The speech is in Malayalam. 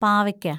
പാവയ്ക്ക